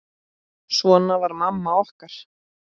Svona var mamma okkar.